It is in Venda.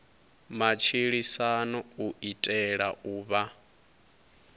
matshilisano u itela u vha